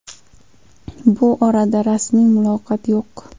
Bu borada rasmiy ma’lumot yo‘q.